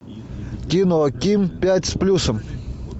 кино ким пять с плюсом